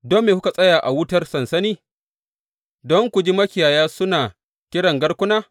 Don me kuka tsaya a wutar sansani don ku ji makiyaya suna kiran garkuna?